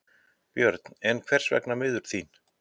Björn: En hvers vegna miður þín?